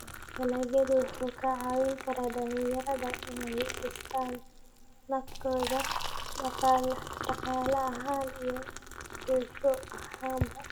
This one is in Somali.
Dalaggu wuxuu ka caawin karaa dhalinyarada inay dhistaan ??naftooda dhaqaale ahaan iyo bulsho ahaanba.